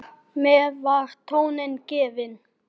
Þar með var tónninn gefinn.